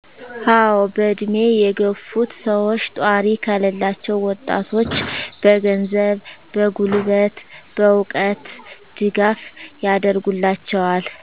አዎ በዕድሜ የገፉት ሰወች ጧሪ ከለላቸዉ ወጣቶቹ በገንዘብ፣ በጉልበት፣ በእዉቀት ድጋፍ ያደርጉላቸዋል።